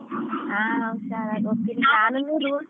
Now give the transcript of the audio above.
ಹಾ ಹುಷಾರಾಗ್ ಹೋಗ್ತೀನಿ ನಾನು rules .